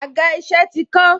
Àga isẹ ti kán.